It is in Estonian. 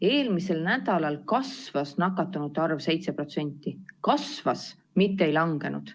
Eelmisel nädalal kasvas nakatunute arv 7% – kasvas, mitte ei langenud.